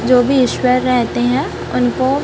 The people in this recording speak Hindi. जो भी ईश्वर रहते हैं उनको--